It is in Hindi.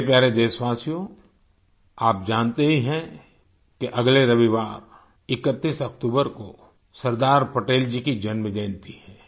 मेरे प्यारे देशवासियो आप जानते हैं कि अगले रविवार 31 अक्तूबर को सरदार पटेल जी की जन्म जयंती है